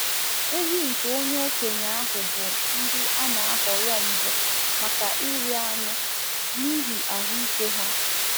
Ehi nke onye okenye ahụ bụ ndị a na-ahọrọ mbụ maka ịrị anụ n’ihi ahụ ike ha.